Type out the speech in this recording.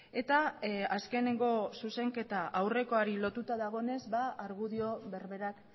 eta azkeneko zuzenketa aurrekoari lotuta dagoenez argudio berberak